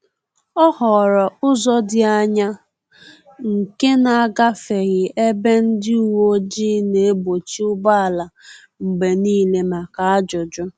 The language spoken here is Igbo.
Ọ họọrọ ụzọ dị anya nke na-agafeghị ebe ndị uweojii na-egbochi ụgbọala mgbe niile maka ajụjụ